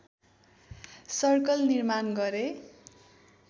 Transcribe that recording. circle निर्माण गरे